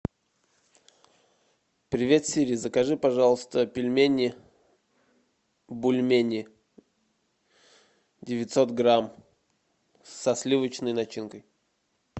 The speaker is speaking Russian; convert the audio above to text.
привет сири закажи пожалуйста пельмени бульмени девятьсот грамм со сливочной начинкой